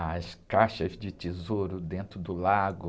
as caixas de tesouro dentro do lago.